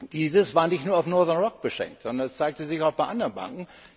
Dies war nicht nur auf Northern Rock beschränkt, sondern zeigte sich auch bei anderen Banken.